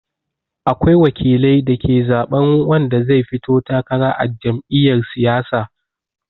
Akwai wakilai da ke zaɓan wanda zai fito takara a jam'iyar siyasa.